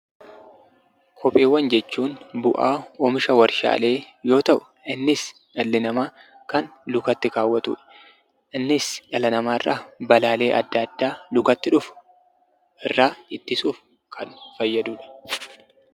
Kopheewwan jechuun bu'aa oomisha waarshaalee yoo ta'u innis dhalli namaa kan lukatti kaawwatudha. Innis dhala namaarraa balaalee adda addaa lukatti dhufu irraa ittisuuf kan fayyadudha.